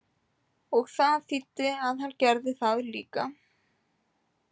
Og það þýddi að hann gerði það líka.